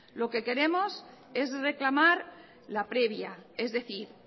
lo que queremos es reclamar la previa es decir